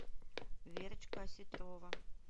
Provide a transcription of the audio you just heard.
верочка осетрова